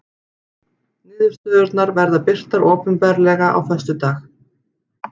Niðurstöðurnar verða birtar opinberlega á föstudag